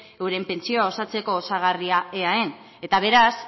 euren pentsioa osatzeko osagarrian eaen eta beraz